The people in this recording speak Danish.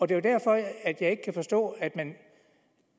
det er derfor at jeg ikke kan forstå at man